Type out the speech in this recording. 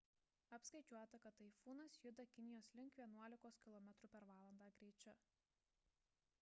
apskaičiuota kad taifūnas juda kinijos link vienuolikos km/h greičiu